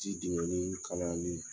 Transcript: Ji jigɛnne kalaya len